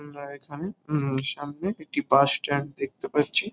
উম আর এখানে উম সামনে একটি বাস স্ট্যান্ড দেখতে পাচ্ছি।